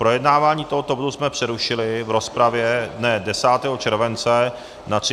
Projednávání tohoto bodu jsme přerušili v rozpravě dne 10. července na 33. schůzi.